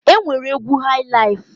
E nwere egwu haị laịf.